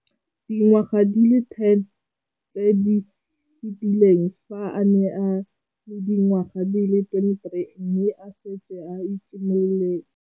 Dingwaga di le 10 tse di fetileng, fa a ne a le dingwaga di le 23 mme a setse a itshimoletse